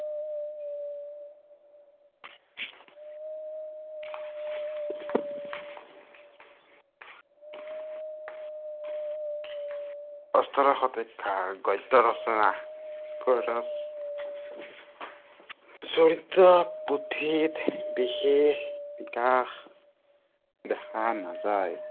ওঠৰশ শতিকাৰ গদ্য়ৰচনা চৰিত পুথিত বিশেষ, বিকাশ দেখা নাযায়